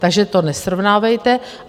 Takže to nesrovnávejte.